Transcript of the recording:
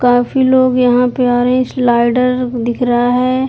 काफी लोग यहाँ पे आ रहे हैं स्लाइडर दिख रहा है।